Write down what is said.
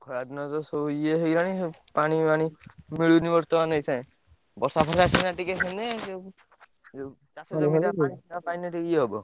ଖରା ଦିନ ତ ସବୁ ଇଏ ହେଇଗଲାଣି ସବୁ ପାଣି ମାଣି ମିଳୁନି ବର୍ତ୍ତମାନ ଏଇ ସାଙ୍ଗେ। ବର୍ଷା ଫର୍ସା ସିନା ଟିକେ ହେଲେ ସବୁ ଚାଷ ପାଇଲେ ଟିକେ ଇଏ ହବ।